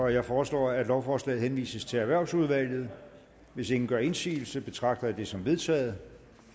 jeg foreslår at lovforslaget henvises til erhvervsudvalget hvis ingen gør indsigelse betragter jeg det som vedtaget